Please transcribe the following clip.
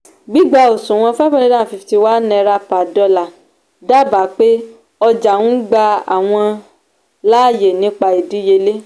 gbígbá òṣùwò̀n five hundred and fifty one naira per dollar dábàá pé ọjà ń gba àwọn láàyè nípa ìdíyelé.